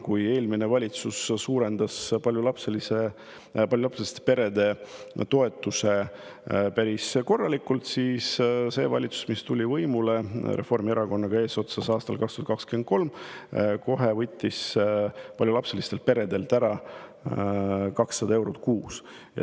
Kui eelmine valitsus suurendas paljulapseliste perede toetust päris korralikult, siis see valitsus, mis tuli eesotsas Reformierakonnaga võimule aastal 2023, võttis paljulapselistelt peredelt kohe ära 200 eurot kuus.